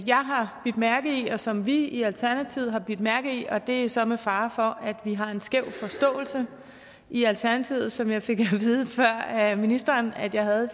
jeg har bidt mærke i og som vi i alternativet har bidt mærke i og det er så med fare for at vi har en skæv forståelse i alternativet sådan som jeg fik at vide før af ministeren at jeg havde